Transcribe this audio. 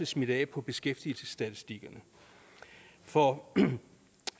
smitte af på beskæftigelsesstatistikkerne for